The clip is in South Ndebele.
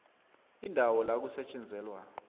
indawo la kusetjenzelwa